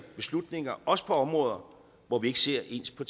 beslutninger også på områder hvor vi ikke ser ens på